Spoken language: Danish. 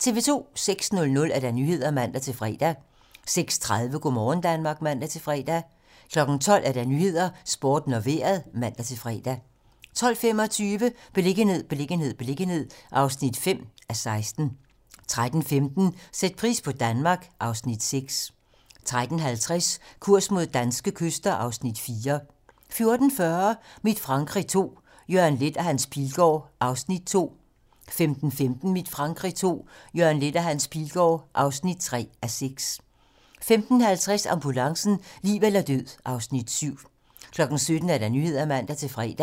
06:00: Nyhederne (man-fre) 06:30: Go' morgen Danmark (man-fre) 12:00: 12 Nyhederne, Sporten og Vejret (man-fre) 12:25: Beliggenhed, beliggenhed, beliggenhed (5:16) 13:15: Sæt pris på Danmark (Afs. 6) 13:50: Kurs mod danske kyster (Afs. 4) 14:40: Mit Frankrig II - Jørgen Leth og Hans Pilgaard (2:6) 15:15: Mit Frankrig II - Jørgen Leth og Hans Pilgaard (3:6) 15:50: Ambulancen - liv eller død (Afs. 7) 17:00: Nyhederne (man-fre)